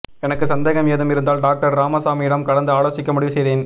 எனக்கு சந்தேகம் ஏதும் இருந்தால் டாக்டர் ராமசாமியிடம் கலந்து ஆலோசிக்க முடிவு செய்தேன்